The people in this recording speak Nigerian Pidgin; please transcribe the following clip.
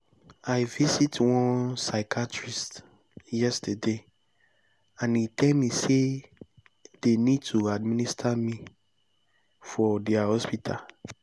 i visit one psychiatrist yesterday and e tell me say they need to administer me for their hospital